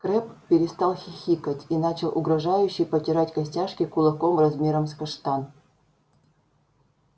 крэбб перестал хихикать и начал угрожающе потирать костяшки кулаков размером с каштан